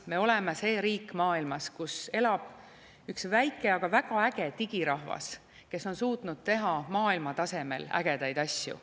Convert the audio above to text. Me oleme see riik maailmas, kus elab üks väike, aga väga äge digirahvas, kes on suutnud teha maailma tasemel ägedaid asju.